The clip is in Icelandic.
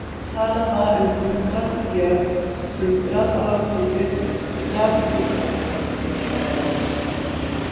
Talað var um hundrað í jörð, hundrað á landsvísu, jarðarhundrað.